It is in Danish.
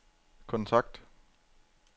kontakt